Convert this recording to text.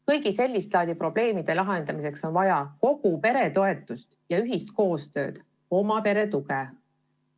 Kõigi sellist laadi probleemide lahendamiseks on vaja kogu pere toetust ja koostööd, oma pere tuge.